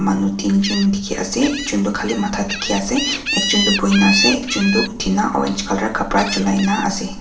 manu teejun dikhiase ekjon tu khali matha dikhiase ekjun tu boina ase ekjun tu uthi na orange colour kapra chuli laase.